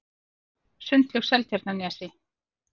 Sundlaug Seltjarnarnesi